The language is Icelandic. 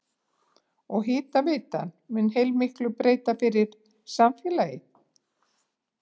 Og hitaveitan mun heilmiklu breyta fyrir samfélagið?